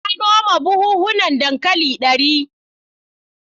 Na noma buhunan dankali dari.